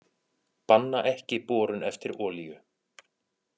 Banna ekki borun eftir olíu